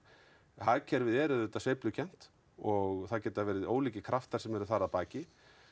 hagkerfið er auðvitað sveiflukennt og það geta verið ólíkir kraftar sem eru þar að baki